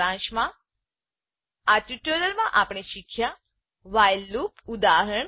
સારાંશમાં આ ટ્યુટોરીયલમાં આપણે શીખ્યા વ્હાઇલ લૂપ વાઇલ લુપ ઉદાહરણ